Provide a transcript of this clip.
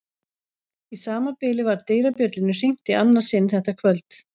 Í sama bili var dyrabjöllunni hringt í annað sinn þetta kvöld.